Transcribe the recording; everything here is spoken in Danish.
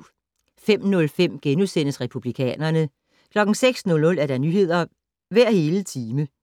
05:05: Republikanerne * 06:00: Nyheder hver hele time 06:05: